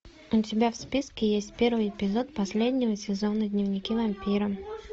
у тебя в списке есть первый эпизод последнего сезона дневники вампира